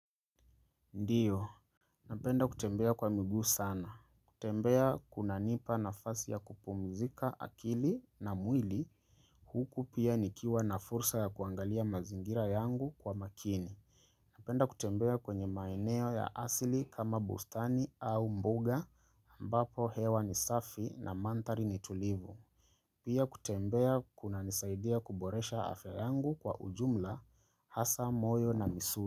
Ndio, napenda kutembea kwa miguu sana. Kutembea kuna nipa na fasi ya kupumzika akili na mwili. Huku pia nikiwa na fursa ya kuangalia mazingira yangu kwa makini. Napenda kutembea kwenye maeneo ya asili kama bustani au mbuga ambapo hewa ni safi na mandhari ni tulivu. Pia kutembea kuna nisaidia kuboresha afya yangu kwa ujumla hasa moyo na misu.